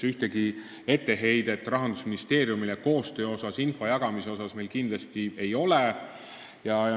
Meil Rahandusministeeriumile koostöö ja info jagamise kohta ühtegi etteheidet kindlasti ei ole.